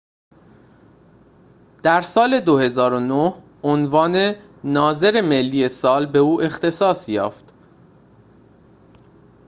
در سال ۲۰۰۹ عنوان ناظر ملی سال به او اختصاص یافت